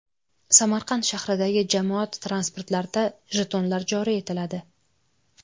Samarqand shahridagi jamoat transportlarida jetonlar joriy etiladi.